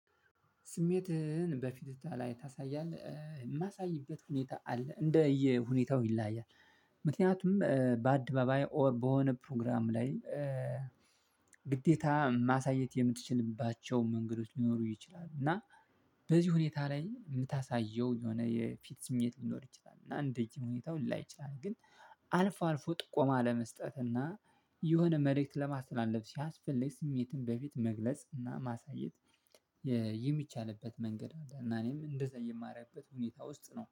ስሜትህን በፊት ላይ ታሳያለህ? የማሳይበት ሁኔታ አለ እንደየ ሁኔታው ይለያያል ምክንያቱም በአድባባይ ኦር በሆነ ፕሮግራም ላይ ግዴታ ማሳየት የምትችልባቸው መንገዶች ሊኖሩ ይችላሉ እና በዚህ ሁኔታ ላይ የምታሳየው የሆነ የፊት ስሜት ሊኖር ይችላል እና እንደዚህ ሁኔታው ላይ ይችላል ግን አልፎ አልፎ ጥቆማ ለመስጠት እና የሆነ መልእክት ለማስተላለፍ ሲያስፈልግ ስሜትን በፊት መግለጽ እና ማሳየት የሚቻልበት መንገድ አንዳንዴም እንደዛ የማረግበት ሁኔታ ውስጥ ነው